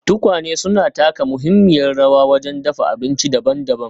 Tukwane suna taka muhimmiyar rawa wajen dafa abinci daban-daban.